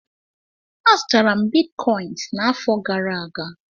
M zụtara bitcọịns n'afọ gara aga.